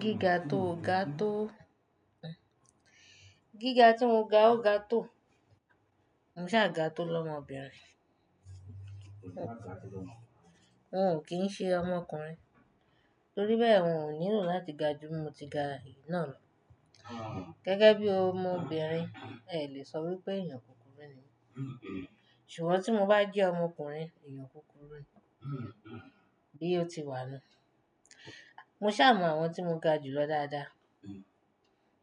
Gíga tóo ga tó gíga tí mo ga ó ga tó. Mo saà ga tó lọ́mọbìnrin. Ng ò kí ń ṣe ọmọkùnrin, torí bẹ́ẹ̀ n ò nílò láti ga ju mo ti ga èyí náà lọ. Gẹ́gẹ́ bí ọmọbìnrin, ẹ lè sọ wípé èèyàn kúkúrú ni mí. Ṣùgbọ́n tí mo bá jẹ́ ọmọkùnrin, èèyàn kúkúrú ni, bí ó ti wà nu. Mo sì máa mọ àwọn tí mo ga jù lọ dáadáa,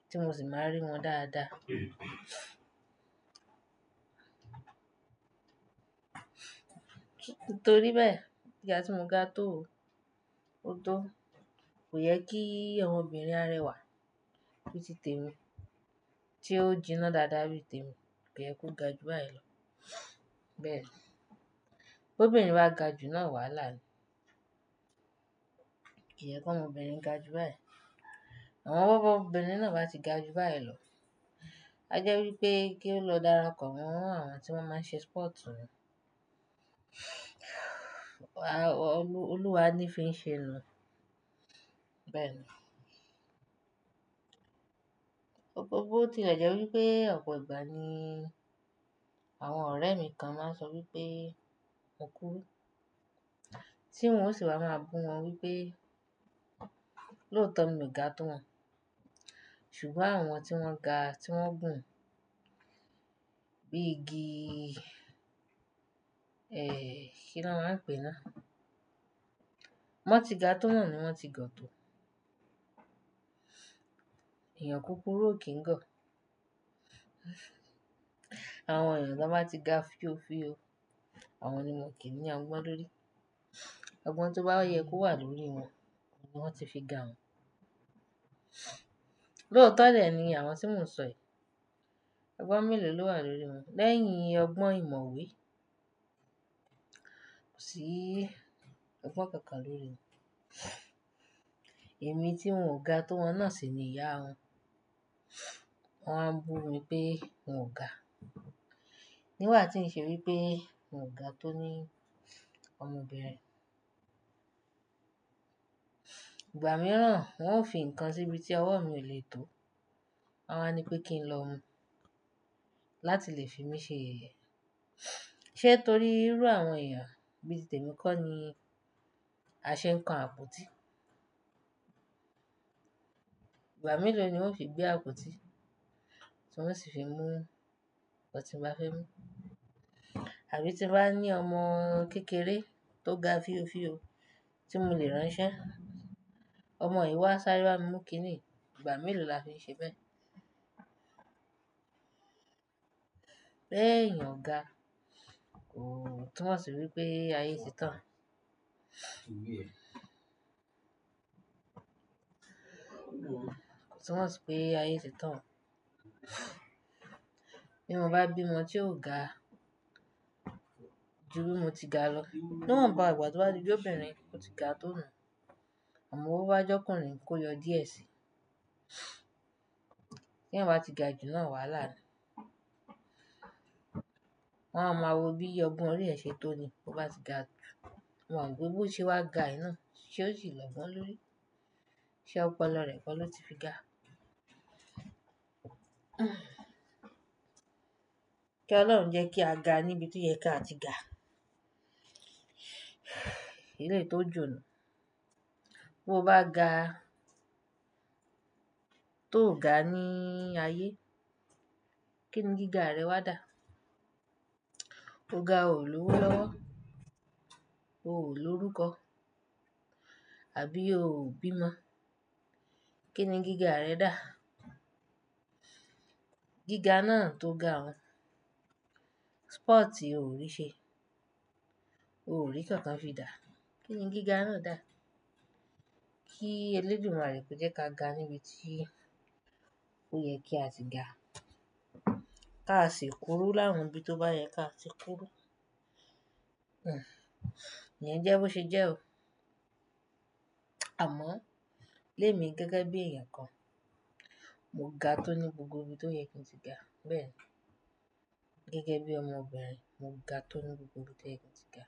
tí mo sì máa rí wọn dáadáa. Torí bẹ́ẹ̀, gíga tí mo ga tó o, ó tó, kò yẹ kí ọmọbìnrin arẹwà bí i tèmi tí ó jìnnà dáadáa bí i tèmi, kò yẹ kó ga ju báyìí lọ. Bẹ́ẹ̀ ni. B'obìnrin bá ga ju náà wàhálà ni. Kì í yẹ kó'mọbìnrin ga ju báyìí lọ. Àmó b' ọmọbìnrin náà bá ti ga ju báyìí lọ, a jẹ́ wípé kí ó lọ darapọ̀ mó àwọn tí wọ́n máa ń ṣe sport nù. Wá, Olúwa ni fi ń ṣe nùu. Bẹ́ẹ̀ ni. Òpó bó tílé jẹ́ wípé ọ̀pọ̀ ìgbà ni àwọn ọ̀rẹ́ mi kan máa ń sọ wípé mo kúrú. Tí n ó sì wá máa bú wọn wípé lóòótọ́ mi ò ga tó wọn. Ṣùgbọ́n àwọn tí wọ́n ga tí wọ́n gùn bí igi, eeh, kí ni wọ́n máa ń pè náà? B'ọ́n ti ga tó na ni wọ́n ti gọ̀ tó. Ẹ̀yàn kúkúrú ò kí ń gọ̀. Àwọn èèyàn tí wọ́n bá ti ga fíofío, àwọn ni wọ́n kì í ní ogbón lórí. Ọgbọ́n tó bá yẹ kó wà lórí wọn, ni wọ́n ti fi ga un. Lóòótọ́ dẹ̀ ni àwọn tí mò ń sọ yi. Ọgbọ́n mélòó ló'wà lórí wọn? Lẹ́yìn ọgbọ́n ìmọ̀ ìwe, kò sí ọgbọ́n kankan lórí wọn. Èmi tí n ò ga tó wọn náà sì ni ìyá wọn. Wọ́n n bú mi pé n ò ga. Nígbà tí ń ṣe wípé n ò ga tó ní ọmọbìnrin. Ìgbà mìíràn wọ́n ó fi ǹkan síbi tí ọwọ́ mi ò lè tó, wọ́n á ní pé kí n lọ mu láti lè fi mí ṣe yẹyẹ. Sé torí irú àwọn èèyàn bí i tèmi kọ́ ni a ṣe ń kan àpótí? Ìgbà mélòó ni n ó fi gbé àpótí tí ng o sì fi mú ňkan tí n bá fẹ́ mú? Àbí tí n bá ní ọmọ kékeré tó ga fíofío tí mò lè ránṣẹ́, ọmọ yìí wá sáré bá mi mú kiní yï, ìgbà mélòó la fi ń ṣe bẹ́ẹ̀? Béèyan ọ̀gá kò, túnmọ̀ sí wípé ayé ti tán. Túnmọ̀ sí pé ayé ti tán. Bí mo bá bí ọmọ tí ò ga ju bí mo ti ga lọ, níwònbá ìgbà tó bá ti j'obìnrin o ti ga tó nù, àmọ́ bó bá j'ọ́kùnrin kó yọ díẹ̀ síi. Tí èèyàn bá ti ga ju náà wàhálà ni. Wọn á ma wo bí ọgbọ́n orí ẹ̀ ṣé tó ni, bó bá ti ga ju. Wọn gbogbo bo ṣe wá ga èyí náà, ṣé ó sì lọ́gbọ́n lórí? Ṣé ọpọlọ rẹ̀ kọ ló ti fi ga? Kí Ọlọ́run jẹ́ kí a ga níbi tí yẹ kí a ti ga. Eléyï tó jù nùu. Bí o bá ga tó ga ní ayé, kí ni gíga rẹ wá dà? O ga ò ní òwó lọ́wọ́, o ò ní orúkọ àbí o ò bí ọmọ. Kí ni gíga rẹ dà? Gíga náà tó ga hun, sporti o ò rí ṣe, o ò rí nǹkan kan fi dà. Kí ni gíga náà dà? Kí Ẹlẹ́dùmárè kó jẹ́ ká ga níbi tí ó yẹ kí a ti ga. Ká sì kúrú láàrún bí tó bá yẹ ká sì kúrú. Hmm. Iyẹn jẹ́ bó ṣe jẹ́ o. Àmọ́ lémi gẹ́gẹ́ bí èèyàn kan, mo ga tó ní gbogbo ibi tó yẹ kí n ti ga. Bẹ́ẹ̀ ni. Gẹ́gẹ́ bí ọmọbìnrin, mo ga tó ní gbogbo ibi tó yẹ kí n ti ga.